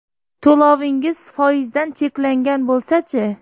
To‘lovingiz foizdan cheklangan bo‘lsachi?